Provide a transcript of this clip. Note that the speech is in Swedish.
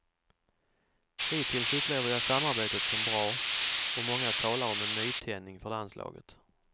Hittills upplever jag samarbetet som bra, och många talar om en nytändning för landslaget.